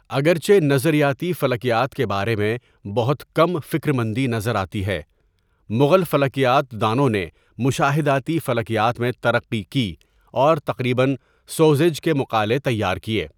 اگرچہ نظریاتی فلکیات کے بارے میں بہت کم فکر مندی نظر آتی ہے، مغل فلکیات دانوں نے مشاہداتی فلکیات میں ترقی کی اور تقریباً سو زیج کے مقالے تیار کیے۔